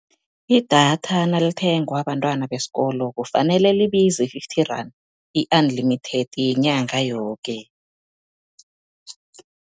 Idatha nalithengwa bantwana besikolo, kufanele libize fifty rand i-unlimited yenyanga yoke.